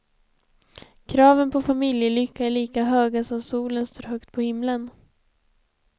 Kraven på familjelycka är lika höga som solen står högt på himlen.